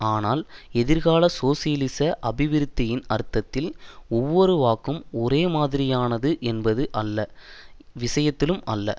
ஆனால் எதிர்கால சோசியலிச அபிவிருத்தியின் அர்த்தத்தில் ஒவ்வொரு வாக்கும் ஒரேமாதிரியானது என்பது எல்லா விஷயத்திலும் அல்ல